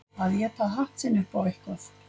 Að éta hatt sinn upp á eitthvað